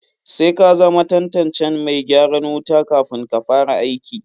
Sai ka zama tantancen mai gyaran wuta kafun ka fara aiki.